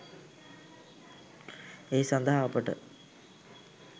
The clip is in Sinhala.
ඒ සඳහා අපට